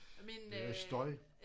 Det er noget støj